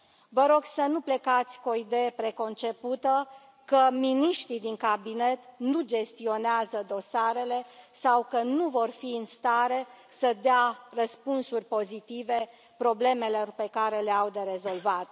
Vă rog să nu plecați cu o idee preconcepută că miniștrii din Cabinet nu gestionează dosarele sau că nu vor fi în stare să dea răspunsuri pozitive problemelor pe care le au de rezolvat.